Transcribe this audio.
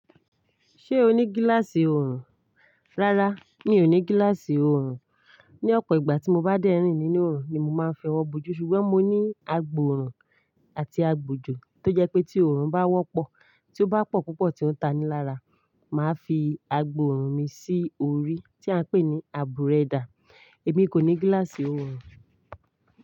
Ṣé o ní gíláàsì oorun? Rárá, mi ò ní gíláàsì oorun. Ni ọ̀pọ̀ ìgbà tí mo bá dẹ́rìn nínú oorun ni mo máa ń fẹ owọ́ bojù. Sùgbọ́n mo ní agbọ̀oorun àti agbòjò, tó jẹ́ pé tí oorun bá wọ́pọ̀, tí ó bá pọ̀ púpọ̀ tí ó ń tanilára, màá fi agbọ̀oorun mi sí orí tí à ń pè ní aburẹ́dà. Èmi kò ní gíláàsì oorun.